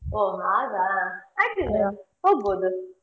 ಓ ಹಾಗಾ ಹೋಗಬೋದು.